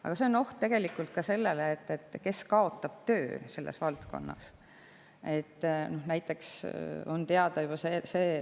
Aga siin on tegelikult ka see oht, et selles valdkonnas kaotavad töö.